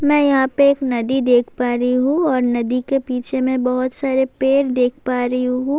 می یھاں پی ایک ندی دیکھ پا رہی ہو، اور ندی لے پیچھے بہت سارے پیڈ دیکھ پا رہی ہو-